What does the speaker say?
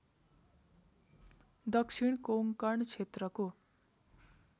दक्षिण कोंकण क्षेत्रको